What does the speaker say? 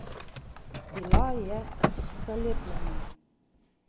Bila je zalepljena.